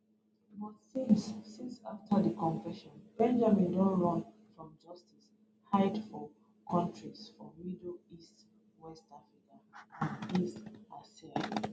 but since since afta di confession benjamin don run from justice hide for kontris for middle east west africa and east asia